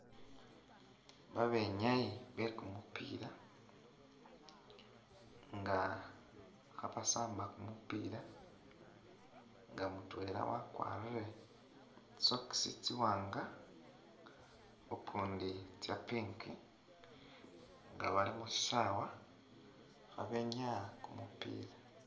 Babenyayi bekumupila nga khabasamba kumupila nga mutwela wakwarile socks tsiwanga ukundi tsa pink nga bali mushisaawa khabenyaya kumupiila.